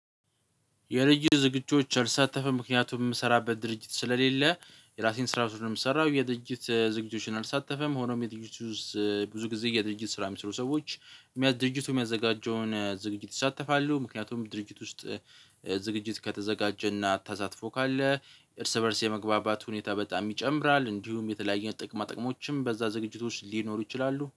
የልጅ ዝግጁዎች አልሳተፈም ምክንያቱም የምሰራበት ድርጅት ስለሌለ የራሴን ስራ ነው የምሰራው የድጅት ዝግጅቶችን አልሳተፈም። ሆኖም የድርጅቱ ብዙ ጊዜ የድርጅት ስራ የሚሰሩ ሰዎች ድርጅቱ የሚያዘጋጀውን ዝግጅት ይሳተፋሉ። ምክንያቱም ድርጅት ውስጥ ዝግጅት ከተዘጋጀና ተሳትፎ ካለ እርስ በእርስ የመግባባት ሁኔታ በጣም ይጨምራል። እንዲሁም የተለያዩ ጥቅማ ጥቅሞችም በዛ ዝግጅቶች ሊኖሩ ይችላሉ